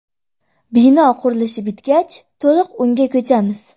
Bino qurilishi bitgach to‘liq unga ko‘chamiz.